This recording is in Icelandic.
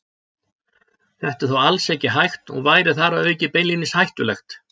Þetta er þó alls ekki hægt og væri þar að auki beinlínis hættulegt.